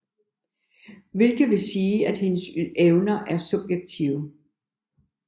Hvilket vil sige at hendes evner er subjektive